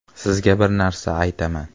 - Sizga bir narsa aytaman.